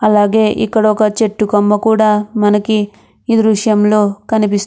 అలాగే ఇక్కడ ఒక చెట్టు కొమ్మ కూడా మనకి ఇ దృశ్యంలో కనిపిస్తు --